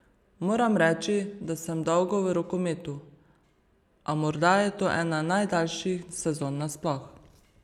Moram reči, da sem dolgo v rokometu, a morda je to ena najdaljših sezon nasploh.